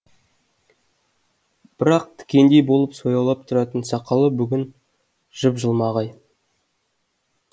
бірақ тікендей болып сояулап тұратын сақалы бүгін жып жылмағай